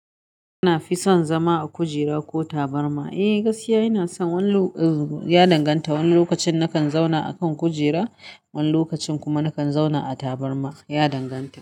Na fi son zama a kujera ko tabarma? Eh gaskiya ina son wani, ya danganta wani lokacin nakan zauna a kan kujera wani lokacin kuma nakan zauna a taburma. Ya danganta.